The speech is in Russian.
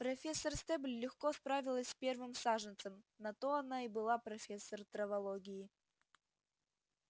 профессор стебль легко справилась с первым саженцем на то она и была профессор травологии